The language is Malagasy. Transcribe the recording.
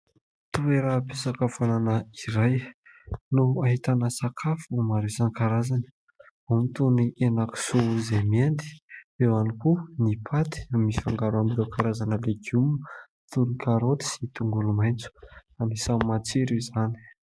Toeram-pisakafoanana iray no ahitana sakafo maro isan-karazany. Ao ny toy ny henan-kisoa izay miendy, eo ihany koa ny paty mifangaro amin'ireo karazana legioma toy ny karoty sy tongolo maitso. Anisan'ny matsiro izany.